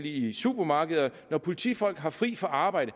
i supermarkeder når politifolk har fri fra arbejde